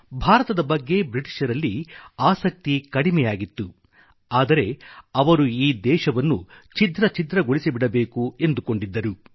ಭಾರತದ ಬಗ್ಗೆ ಬ್ರಿಟಿಷರಲ್ಲಿ ಆಸಕ್ತಿ ಕಡಿಮೆ ಆಗಿತ್ತು ಆದರೆ ಅವರು ಈ ದೇಶವನ್ನು ಛಿದ್ರ ಛಿದ್ರಗೊಳಿಸಿಬಿಡಬೇಕು ಎಂದುಕೊಂಡಿದ್ದರು